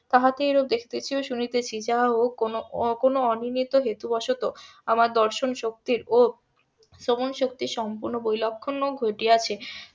তাহাকে এইরূপ দেখিতেছি ও শুনিতেছি যাহা ও কোনো কোনো অনিয়মিত হেতু বসত আমার দর্শন শক্তির ও শ্রবণ শক্তির সম্পূর্ণ বৈলক্ষন ও ঘটিয়াছে